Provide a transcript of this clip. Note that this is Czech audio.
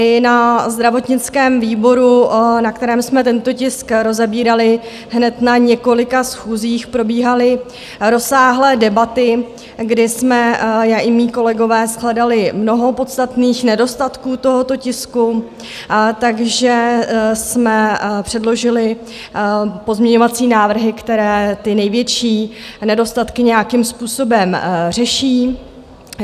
I na zdravotnickém výboru, na kterém jsme tento tisk rozebírali hned na několika schůzích, probíhaly rozsáhlé debaty, kdy jsme já i mí kolegové shledali mnoho podstatných nedostatků tohoto tisku, takže jsme předložili pozměňovací návrhy, které ty největší nedostatky nějakým způsobem řeší.